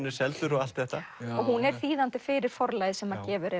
er seldur og allt þetta hún er þýðandi fyrir Forlagið sem gefur